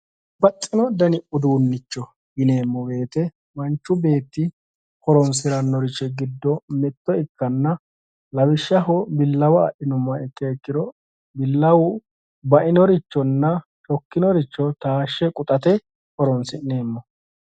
Babbaxxino dani uduunnicho yineemmo woyiite manchu beetti horoonsirannorichi giddo mitto ikkanna lawishshaho billawa adhinummoha ikkiro billawu bainorichona shokkinoricho taashshe quxate horoonsi'neemmoho